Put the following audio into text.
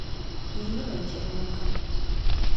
ириной черненко